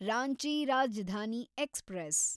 Ranchi Rajdhani express